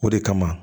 O de kama